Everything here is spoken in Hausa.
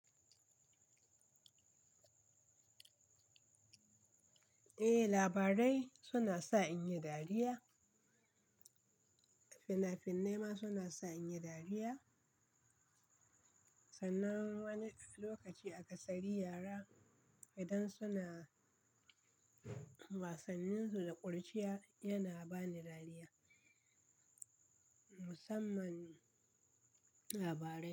Eh, labarai suna sa in yi dariya. Fina-finai ma suna sa in yi dariya. Sannan wani lokaci a kasari yara, idan suna wasanninsu da ƙuruciya, yana ba ni dariya, musamman labarai.